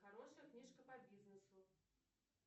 хорошая книжка по бизнесу